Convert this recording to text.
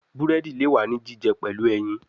Buredi le wa ni jijẹ pẹlu ẹyin